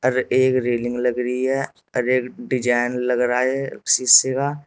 और एक रेलिंग लग रही है और एक डिजाइन लग रहा है शीशे का।